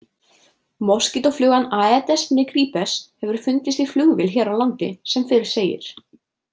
Moskítóflugan Aedes nigripes hefur fundist í flugvél hér á landi sem fyrr segir.